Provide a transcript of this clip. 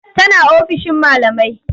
Tana ofishin malamai.